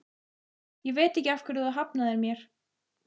Ég veit ekki af hverju þú hafnaðir mér.